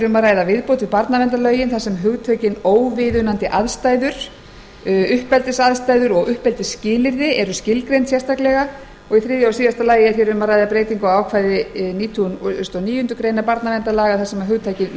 um að ræða viðbót við barnaverndarlögin þar sem hugtökin óviðunandi aðstæður uppeldisaðstæður og uppeldisskilyrði eru skilgreind sérstaklega í þriðja lagi er um að ræða breytingu á ákvæði nítugasta og níundu grein barnaverndarlaga þar sem hugtakið